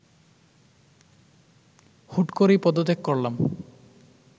হুট করেই পদত্যাগ করলাম